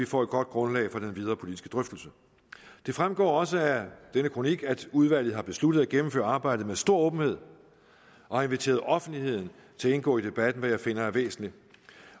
får et godt grundlag for den videre politiske drøftelse det fremgår også af denne kronik at udvalget har besluttet at gennemføre arbejdet med stor åbenhed og har inviteret offentligheden til at indgå i debatten hvad jeg finder er væsentligt